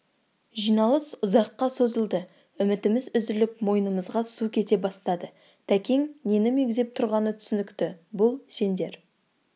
жиналыс ұзаққа созылды үмітіміз үзіліп мойнымызға су кете бастады тәкең нені меңзеп тұрғаны түсінікті бұл сендер